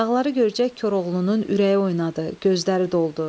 Dağları görcək Koroğlunun ürəyi oynadı, gözləri doldu.